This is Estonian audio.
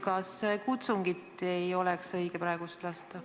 Kas praegu ei oleks õige kutsungit lasta?